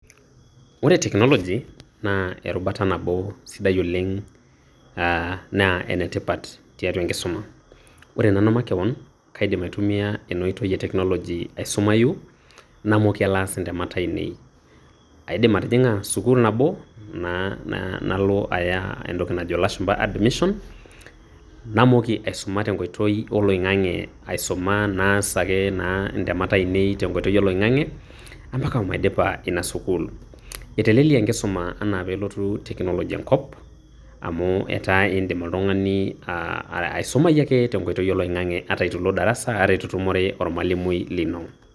Ore teknoloji, naa erubata nabo sidai oleng' aa naa enetipat tiatua enkisuma. Ore nanu makeon, kaidim aitumia ena oitoi e teknoloji aisumayu namooki alo aas intemat ainei. Aidim atijiga sukul nabo na nalo aya entoki najo ilashumba admission, namooki aisuma teng'oitoi olaing'ang'e aisuma naas ake naa intemat ainei tenkoitoi oloing'ang'e, ompaka maidipa ina sukul. Etelelia enkisuma enaa peelotu teknoloji enkop, amu etaa indim oltung'ani aa aisumayu ake teng'oitoi oloing'ang'e ata itu ilo darasa, ata itu itumore ormalimui lino.